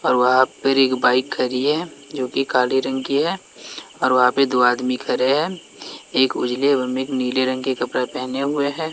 और वहां पे एक बाइक खड़ी है जोकि काली रंग की है औ वहां पे दो आदमी खड़े हैं एक उजले और एक नीले रंग के कपड़े पहने हुए है।